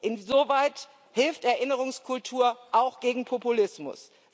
Insoweit hilft Erinnerungskultur auch gegen Populismus.